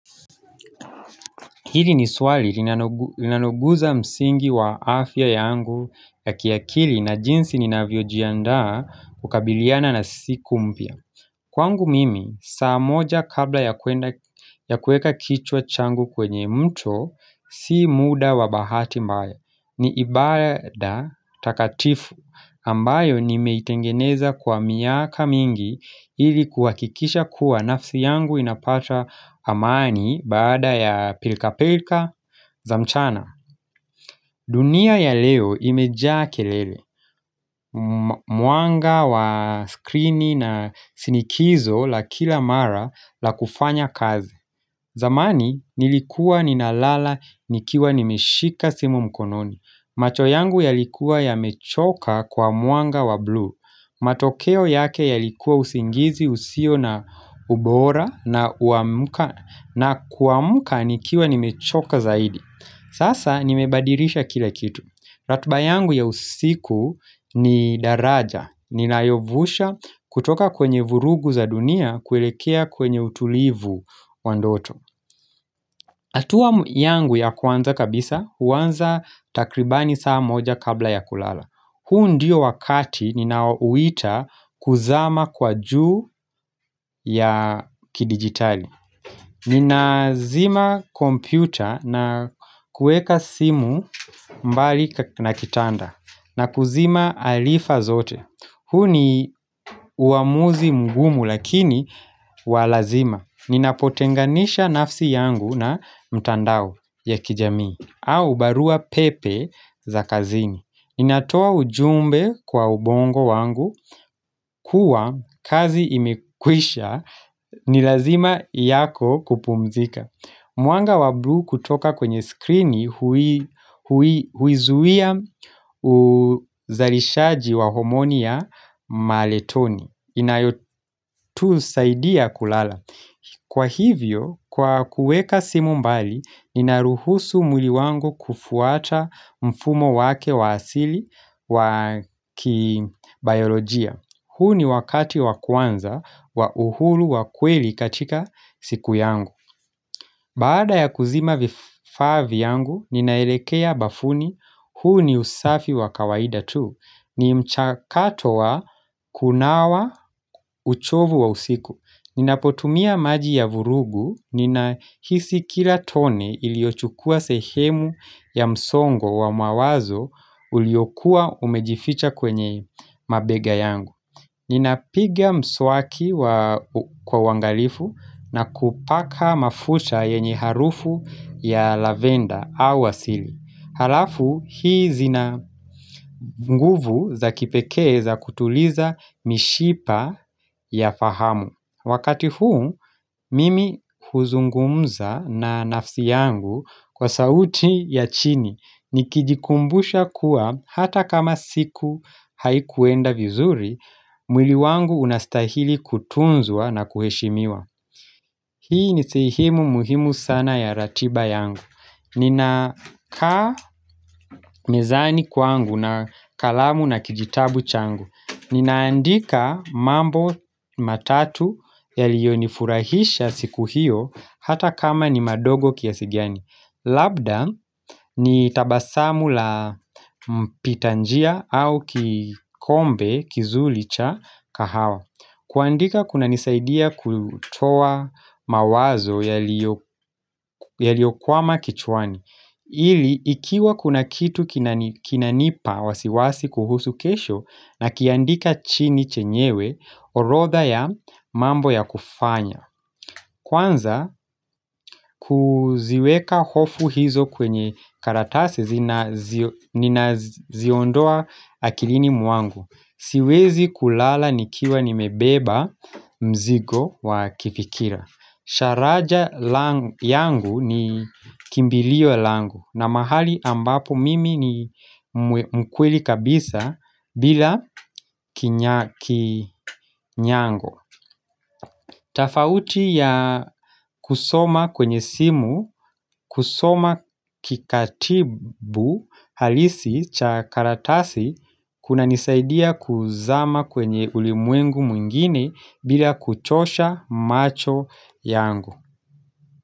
Hili ni swali linanoguza msingi wa afya yangu ya kiakili na jinsi ninavyojiandaa kukabiliana na siku mpya Kwangu mimi saa moja kabla ya kueka kichwa changu kwenye mto si muda wa bahati mbaya ni ibada takatifu ambayo nimeitengeneza kwa miaka mingi ili kuhakikisha kuwa nafsi yangu inapata amani baada ya pilkapilka za mchana dunia ya leo imejaa kelele, mwanga wa screen na sinikizo la kila mara la kufanya kazi zamani nilikua ninalala nikiwa nimeshika simu mkononi, macho yangu yalikuwa yamechoka kwa mwanga wa bluu matokeo yake yalikuwa usingizi husio na ubora kuamka nikiwa nimechoka zaidi. Sasa nimebadirisha kila kitu ratiba yangu ya usiku ni daraja ninayovusha kutoka kwenye vurugu za dunia kuelekea kwenye utulivu wa ndoto hatua yangu ya kwanza kabisa, huanza takribani saa moja kabla ya kulala. Huu ndiyo wakati ninaoita kuzama kwa juu ya kidigitali. Ninazima kompyuta na kueka simu mbali na kitanda na kuzima alifa zote. Huu ni uamuzi mgumu lakini walazima. Ninapotenganisha nafsi yangu na mtandao. Ya kijamii, au barua pepe za kazini. Inatoa ujumbe kwa ubongo wangu, kuwa kazi imekwisha, ni lazima yako kupumzika. Mwanga wa bluu kutoka kwenye screen huizuia uzarishaji wa homonia maletoni. Inayotusaidia kulala. Kwa hivyo, kwa kuweka simu mbali, ninaruhusu mwili wangu kufuata mfumo wake wa asili wa kibayolojia. Huu ni wakati wa kwanza wa uhuru wa kweli katika siku yangu. Baada ya kuzima vifaa vyangu, ninaelekea bafuni huu ni usafi wa kawaida tu. Ni mchakato wa kunawa uchovu wa usiku. Ninapotumia maji ya vurugu, ninahisi kila tone iliochukua sehemu ya msongo wa mawazo uliokuwa umejificha kwenye mabega yangu. Ninapigia mswaki kwa uangalifu na kupaka mafuta yenye harufu ya lavenda au asili. Halafu, hii zina nguvu za kipekee za kutuliza mishipa ya fahamu. Wakati huu, mimi huzungumza na nafsi yangu kwa sauti ya chini nikijikumbusha kuwa hata kama siku haikuenda vizuri, mwili wangu unastahili kutunzua na kuheshimiwa. Hii ni sehemu muhimu sana ya ratiba yangu ninakaa mezani kwangu na kalamu na kijitabu changu. Ninaandika mambo matatu yalionifurahisha siku hiyo hata kama ni madogo kiasi gani Labda ni tabasamu la mpitanjia au kikombe kizuri cha kahawa. Kuandika kuna nisaidia kutoa mawazo yaliokwama kichwani ili ikiwa kuna kitu kinanipa wasiwasi kuhusu kesho na kiandika chini chenyewe orotha ya mambo ya kufanya Kwanza kuziweka hofu hizo kwenye karatasi ninaziondoa akilini mwangu Siwezi kulala nikiwa nimebeba mzigo wa kifikira. Sharaja yangu ni kimbilio yangu na mahali ambapo mimi ni mkweli kabisa bila kinyango tafauti ya kusoma kwenye simu kusoma kikatibu halisi cha karatasi Kuna nisaidia kuzama kwenye ulimwengu mwingine bila kuchosha macho yangu.